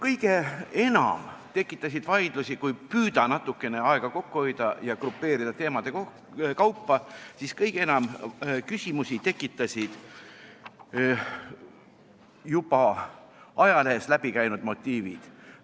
Kõige enam tekitasid vaidlusi – kui püüda natukene aega kokku hoida ja grupeerida teemade kaupa –, siis kõige enam küsimusi tekitasid juba ajalehest läbi käinud motiivid.